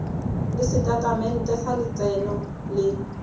le setatamente sa letseno le